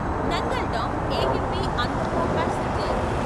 Nangal dam AMB Andaura passenger